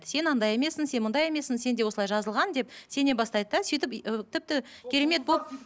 сен андай емессің сен мындай емессің сенде осылай жазылған деп сене бастайды да сөйтіп ы тіпті керемет болып